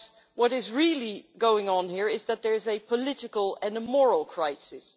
what is really going on here is that there is a political and a moral crisis.